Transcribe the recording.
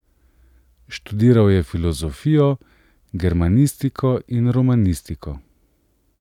Študiral je filozofijo, germanistiko in romanistiko.